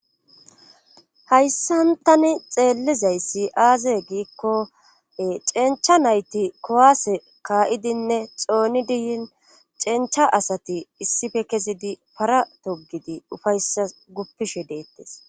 hayssantani xeellizay aaze giikkoe cencha nayti kowaase kaa7idinne xooni diyin cencha asati issife kezidi para togidi ufayssa guppishe deettes